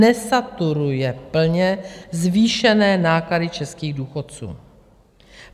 Nesaturuje plně zvýšené náklady českých důchodců.